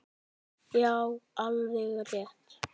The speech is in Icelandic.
Já, alveg rétt!